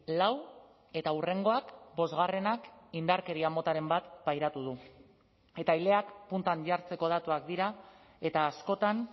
lau eta hurrengoak bosgarrenak indarkeria motaren bat pairatu du eta ileak puntan jartzeko datuak dira eta askotan